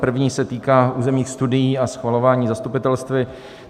První se týká územních studií a schvalování zastupitelstvy.